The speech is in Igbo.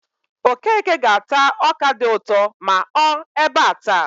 Okeke ga-ata ọka dị ụtọ ma ọ ebe a taa.